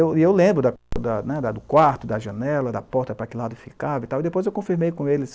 E eu e eu lembro da da ne, da do quarto, da janela, da porta para que lado ficava, e depois eu confirmei com eles.